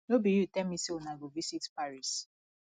no be you tell me say una go visit paris